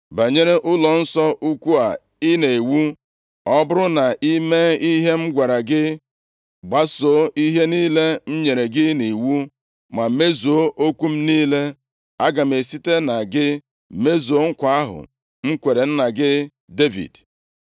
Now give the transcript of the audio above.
“Banyere ụlọnsọ ukwu a i na-ewu, ọ bụrụ na i mee ihe m gwara gị, gbasoo ihe niile m nyere gị nʼiwu, ma mezuo okwu m niile, aga m esite na gị mezuo nkwa ahụ m kwere nna gị Devid.